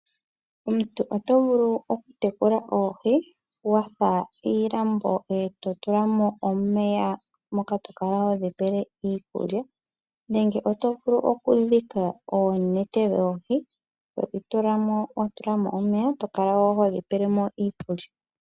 Omuntu oto vulu okutekula oohi wa fula iilambo e to tula mo omeya, moka to kala hodhi pele mo iikulya, nenge oto vulu okudhika oonete dhoohi, to dhi tula mo wa tula mo omeya to kala ho dhi pele mo iikulya.